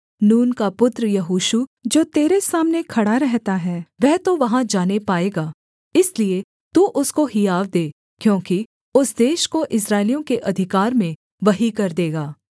नून का पुत्र यहोशू जो तेरे सामने खड़ा रहता है वह तो वहाँ जाने पाएगा इसलिए तू उसको हियाव दे क्योंकि उस देश को इस्राएलियों के अधिकार में वही कर देगा